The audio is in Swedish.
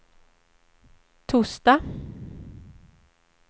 torsdag